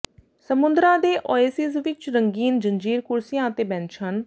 ਸਮੁੰਦਰਾਂ ਦੇ ਓਏਸਿਸ ਵਿੱਚ ਰੰਗੀਨ ਜੰਜੀਰ ਕੁਰਸੀਆਂ ਅਤੇ ਬੈਂਚ ਹਨ